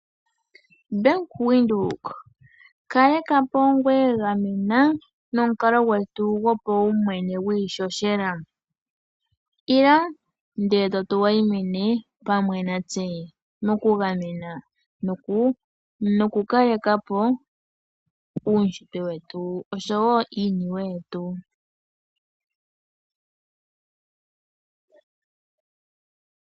Bank Windhoek! Kaleka po ngoye gamena nomukalo gwetu go paumwene gwiihohela. Ila, ndele to wayimine pamwe natse noku kaleka po uunshitwe noshowo iiniwe yetu.